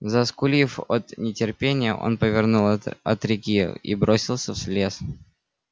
заскулив от нетерпения он повернул от реки и бросился в лес